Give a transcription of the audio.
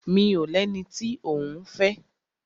Mi ò lẹni tí òún fẹ́.